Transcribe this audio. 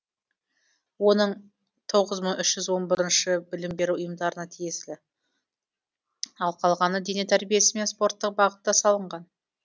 оның тоғыз мың үшжүз онбіріншіі білім беру ұйымдарына тиесілі ал қалғаны дене тәрбиесі мен спорттық бағытта салынған